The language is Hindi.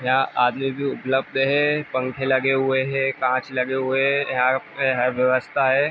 यहाँ आदमी भी उपलब्ध हैं। पंखे लगें हुए हैं कांच लगें हुए हैं। यहाँ है व्यवस्था हैं।